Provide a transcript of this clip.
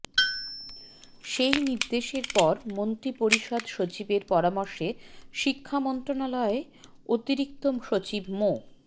সেই নির্দেশের পর মন্ত্রিপরিষদ সচিবের পরামর্শে শিক্ষা মন্ত্রণালয়ের অতিরিক্ত সচিব মো